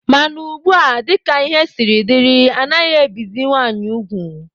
Mana ugbua, dika ihe siri dị, anaghị ebizi nwaanyị ugwu.